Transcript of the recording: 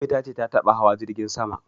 Ummi ta ce ta taɓa hawa jirgin sama